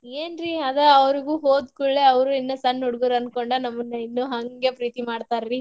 ಏನ್ರೀ ಅದ ಅವ್ರಿಗು ಹೋದ ಕೂಡ್ಳೇ ಅವ್ರು ಇನ್ನ ಸಣ್ಣ್ ಹುಡ್ಗುರ ಅನ್ಕೊಂಡ ನಮನ್ನ ಇನ್ನು ಹಂಗೆ ಪ್ರೀತಿ ಮಾಡ್ತಾರಿ.